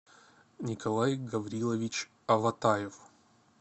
николай гаврилович аватаев